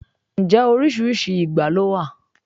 Ǹjẹ́ oríṣiríṣi ìgbá ló wà?